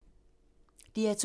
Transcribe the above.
DR2